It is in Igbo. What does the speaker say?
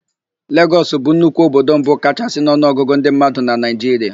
Legọs bụ nnukwu obodo mbụ kachaa n'ọnụọgụ ndị mmadụ na Naịjiria.